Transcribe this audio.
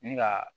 Ni ka